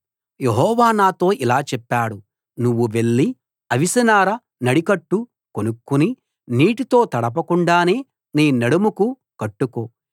యెహోవా నాతో ఇలా చెప్పాడు నువ్వు వెళ్లి అవిసెనార నడికట్టు కొనుక్కుని నీటితో తడపకుండానే నీ నడుముకు కట్టుకో